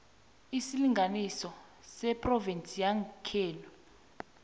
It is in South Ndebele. isilinganiso sephrovinsi yangekhenu